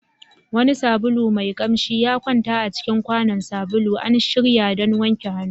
Wani sabulu mai kamshi ya kwanta a cikin kwanon sabulu, an shirya don wanke hannu.